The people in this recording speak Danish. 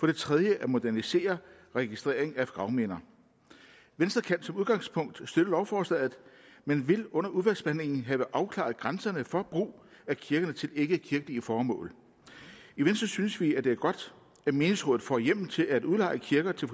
det tredje at modernisere registreringen af gravminder venstre kan som udgangspunkt støtte lovforslaget men vil under udvalgsbehandlingen have afklaret grænserne for brug af kirkerne til ikkekirkelige formål i venstre synes vi at det er godt at menighedsrådet får hjemmel til at udleje kirker til